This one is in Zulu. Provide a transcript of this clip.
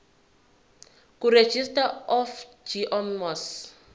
kuregistrar of gmos